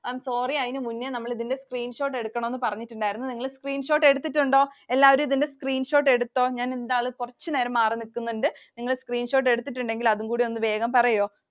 Am sorry. അതിനു മുൻപേ നമ്മൾ ഇതിൻറെ screenshot എടുക്കണമെന്ന് പറഞ്ഞിട്ടുണ്ടായിരുന്നു. നിങ്ങൾ screenshot എടുത്തിട്ടുണ്ടോ? എല്ലാരും ഇതിൻറെ screenshot എടുത്തോ? ഞാൻ എന്തായാലും കുറച്ചു നേരം മാറിനിക്കുന്നുണ്ട്. നിങ്ങൾ screenshot എടുത്തിട്ടുണ്ടെങ്കിൽ അതുംകൂടി ഒന്ന് വേഗം പറയുമോ?